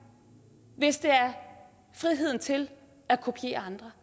hvis det er er friheden til at kopiere andre